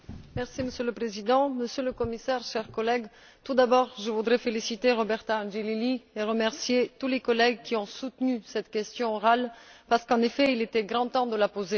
Monsieur le Président, Monsieur le Commissaire, chers collègues, tout d'abord je voudrais féliciter Roberta Angelilli et remercier tous les collègues qui ont soutenu cette question orale, parce qu'en effet, il était grand temps de la poser.